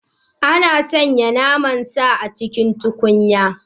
Ana soya naman sa a cikin tukunya?